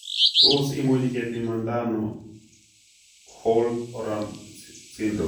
Tos imuch kepimanda ano holt oram syndrome